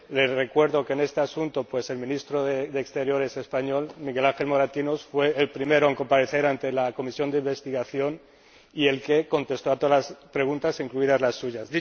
Le recuerdo que en este asunto el Ministro de Asuntos Exteriores español, Miguel Ángel Moratinos, fue el primero en comparecer ante la comisión de investigación y el que contestó a todas las preguntas, incluidas las suyas.